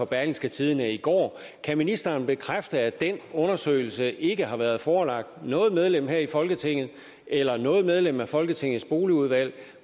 berlingske tidende i går kan ministeren bekræfte at den undersøgelse ikke har været forelagt noget medlem her i folketing eller noget medlem af folketingets boligudvalg